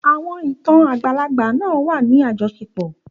Àwọn ìtàn obìnrin àgbàlagbà náà wà ní àjọṣepọ̀.